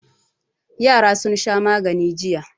Yara sun sha magani jiya.